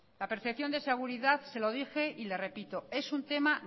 la percepción de seguridad se lo dije y le repito es un tema